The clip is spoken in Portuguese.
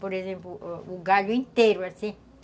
Por exemplo, o o galho inteiro, assim.